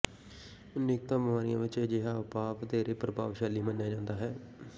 ਅਨੇਕਾਂ ਬੀਮਾਰੀਆਂ ਵਿੱਚ ਅਜਿਹਾ ਉਪਾਅ ਵਧੇਰੇ ਪ੍ਰਭਾਵਸ਼ਾਲੀ ਮੰਨਿਆ ਜਾਂਦਾ ਹੈ